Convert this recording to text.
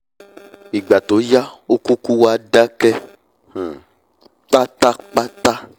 ìgbà tó yá ó kúkú wá dákẹ́ um pátápátá